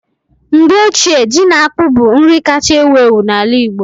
Mgbe ochie ji na akpu bụ nri kacha ewu ewu n'ala Igbo